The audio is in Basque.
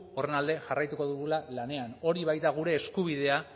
horren alde jarraituko dugula lanean hori baita gure eskubidea